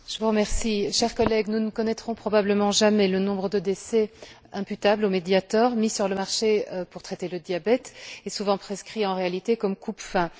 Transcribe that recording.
Madame la Présidente, chers collègues, nous ne connaîtrons probablement jamais le nombre de décès imputables au Mediator, mis sur le marché pour traiter le diabète et souvent prescrit, en réalité, comme coupe faim.